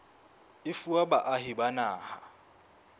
e fuwa baahi ba naha